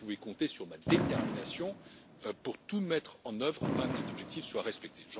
Vous pouvez compter sur ma détermination pour tout mettre en œuvre afin que cet objectif soit respecté.